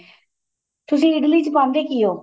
ਤੁਸੀਂ ਇਡਲੀ ਚ ਪਾਂਦੇ ਕੀ ਓ